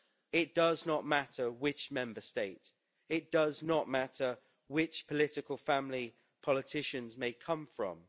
It does not matter which Member State. It does not matter which political family politicians may come from.